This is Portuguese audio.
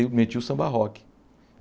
Eu metia o samba rock.